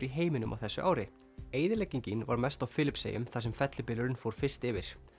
í heiminum á þessu ári eyðileggingin var mest á Filippseyjum þar sem fellibylurinn fór fyrst yfir